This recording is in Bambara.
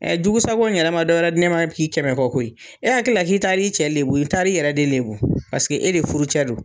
Ɛɛ jugusako in yɛrɛ ma dɔwɛrɛ di ne ma bi kɛmɛ fɔ koyi . E hakilila k'i taa li cɛ de lebu i taa li yɛrɛ de lebu paseke e de furu cɛ don.